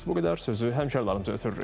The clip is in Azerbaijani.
Sözü həmkarlarımıza ötürürük.